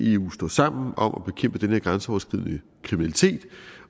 eu står sammen om at bekæmpe den her grænseoverskridende kriminalitet